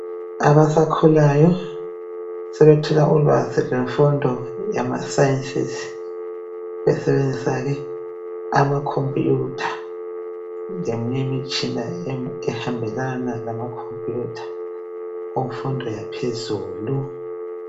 Abasakhulayo sebethola ulwazi lwemfundo yamasayensisi besebenzisa ke amakhomompuyutha leminye imitshina ehambelana lamakhompuyutha kumfundo yaphezulu.